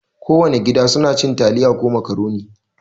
Kowana gida suna cin taliya ko makaroni.